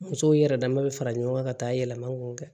Musow yɛrɛ dama bɛ fara ɲɔgɔn kan yɛlɛma k'o kɛ